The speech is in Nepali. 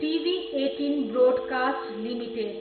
TV eighteen broadcast limited